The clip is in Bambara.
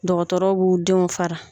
Dɔgɔtɔrɔ b'u denw fara.